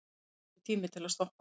Þetta er ekki tími til að stoppa.